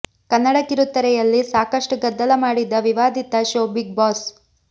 ಕನ್ನಡ ಕಿರುತೆರೆಯಲ್ಲಿ ಸಾಕಷ್ಟು ಗದ್ದಲ ಮಾಡಿದ್ದ ವಿವಾದಿತ ಷೋ ಬಿಗ್ ಬಾಸ್